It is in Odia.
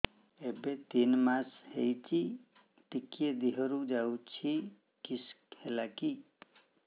ଏବେ ତିନ୍ ମାସ ହେଇଛି ଟିକିଏ ଦିହରୁ ଯାଉଛି କିଶ ହେଲାକି